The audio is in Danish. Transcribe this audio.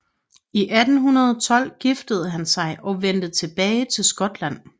I 1812 giftede han sig og vendte tilbage til Skotland